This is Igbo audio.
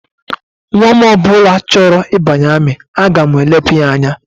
Nnwa m ọ bụla chọrọ ịbanye amị, aga m elepụ ya anya